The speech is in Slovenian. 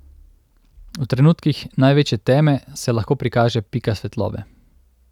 V trenutkih največje teme se lahko prikaže pika svetlobe.